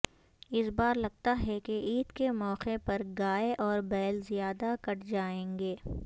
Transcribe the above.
اس بار لگتا ہے کہ عید کے موقع پرگائے اور بیل زیادہ کٹ جائیں گے